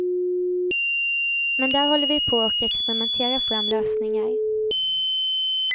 Men där håller vi på och experimenterar fram lösningar.